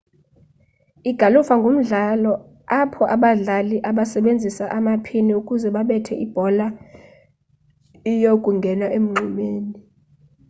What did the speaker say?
igalufa ngumdlalo apho abadlali basebenzisa amaphini ukuze babethe ibhola iyokungena emngxunyeni